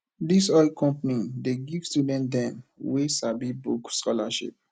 dis oil company dey give student dem wey sabi book scholarship